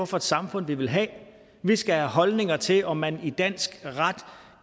for et samfund vi vil have vi skal have holdninger til om man i dansk ret